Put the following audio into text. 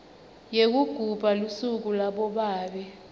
yekugubha lusuku labobabe